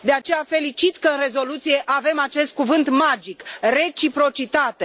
De aceea, felicit că în rezoluție avem acest cuvânt magic reciprocitate.